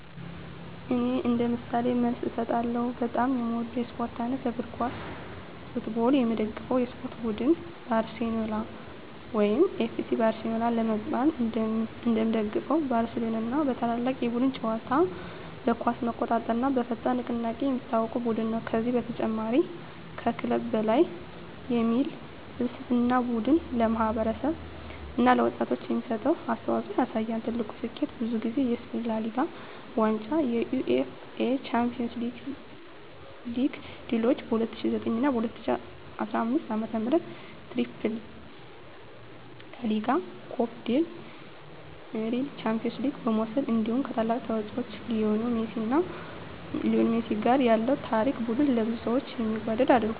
እኔ እንደ ምሳሌ መልስ እሰጣለሁ፦ በጣም የምወደው የስፖርት አይነት: እግር ኳስ (Football) የምደግፈው የስፖርት ቡድን: ባርሴሎና (FC Barcelona) ለምን እንደምደግፈው: ባርሴሎና በታላቅ የቡድን ጨዋታ (tiki-taka)፣ በኳስ መቆጣጠር እና በፈጣን ንቅናቄ የሚታወቅ ቡድን ነው። ከዚህ በተጨማሪ “Mes que un club” (ከክለብ በላይ) የሚል ፍልስፍናው ቡድኑ ለማህበረሰብ እና ለወጣቶች የሚሰጠውን አስተዋፅኦ ያሳያል። ትልቁ ስኬቱ: ብዙ ጊዜ የስፔን ላ ሊጋ ዋንጫ የUEFA ቻምፒዮንስ ሊግ ድሎች በ2009 እና 2015 ዓመታት “ትሪፕል” (ላ ሊጋ፣ ኮፓ ዴል ሬይ፣ ቻምፒዮንስ ሊግ) መውሰድ እንዲሁ ከታላቁ ተጫዋች ሊዮኔል ሜሲ ጋር ያለው ታሪክ ቡድኑን ለብዙ ሰዎች የሚወደድ አድርጎታል።